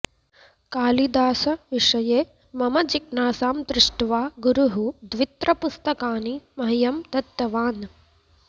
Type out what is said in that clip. कालिदासविषये मम जिज्ञासां दृष्ट्वा गुरुः द्वित्रपुस्तकानि मह्यं दत्तवान्